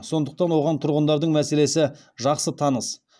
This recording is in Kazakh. сондықтан оған тұрғындардың мәселесі жақсы таныс